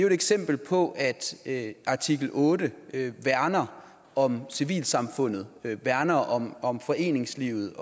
et eksempel på at artikel otte værner om civilsamfundet værner om om foreningslivet